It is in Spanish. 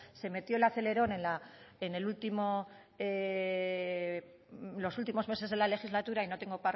se metió el acelerón en los últimos meses de la legislatura y